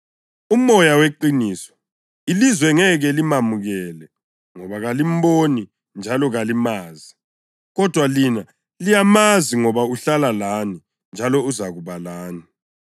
uMoya weqiniso. Ilizwe ngeke limamukele ngoba kalimboni njalo kalimazi. Kodwa lina liyamazi ngoba uhlala lani njalo uzakuba lani.